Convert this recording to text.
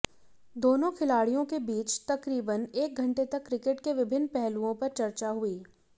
दोनों खिलाड़ियों के बीच तकरीबन एक घंटे तक क्रिकेट के विभिन्न पहलुओं पर चर्चा हुई